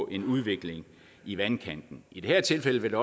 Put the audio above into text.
en udvikling i vandkanten i det her tilfælde vil